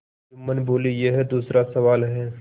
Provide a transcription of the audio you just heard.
जुम्मन बोलेयह दूसरा सवाल है